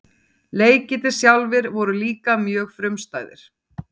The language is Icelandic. leikirnir sjálfir voru líka mjög frumstæðir